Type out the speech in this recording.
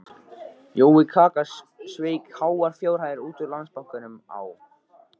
Jói kaka sveik háar fjárhæðir út úr Landsbankanum á